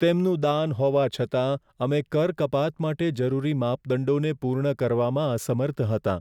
તેમનું દાન હોવા છતાં, અમે કર કપાત માટે જરૂરી માપદંડોને પૂર્ણ કરવામાં અસમર્થ હતા.